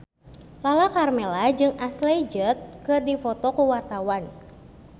Lala Karmela jeung Ashley Judd keur dipoto ku wartawan